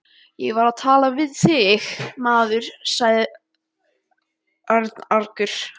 Ég var að tala við þig, maður sagði Örn argur.